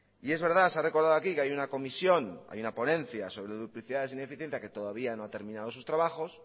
y es verdad se ha recordado aquí que hay una comisión hay una ponencia sobre duplicidades e ineficiencia que todavía no ha terminado sus trabajos